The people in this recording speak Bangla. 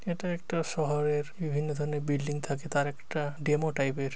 এটা একটা শহরের বিভিন্ন ধরনের বিল্ডিং থাকে তার একটা ডেমো টাইপ এর--